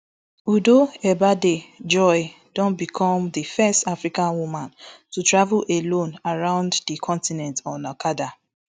udoh ebaide joy don become di first african woman to travel alone around di continent on okada